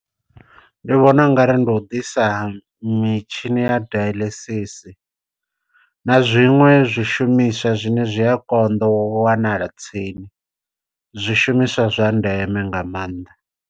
Ndi vhona u nga ri ndi u ḓisa mitshini ya dialysis, na zwiṅwe zwishumiswa zwine zwi a konḓa u wanala tsini zwishumiswa zwa ndeme nga maanḓa.